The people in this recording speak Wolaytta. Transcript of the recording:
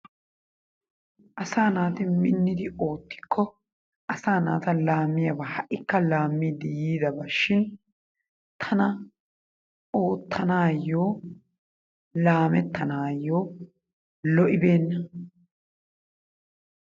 Asaa naaati minidi ootikko asaa naata laamiyaba ha'ikka laamiidi yiidaba shin tana oottanaayyo laamettanaayo lo'ibeenna.